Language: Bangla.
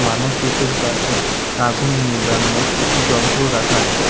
মানুষ দুতির পাশে আগুন নিবানোর যন্ত্র রাখা আছে।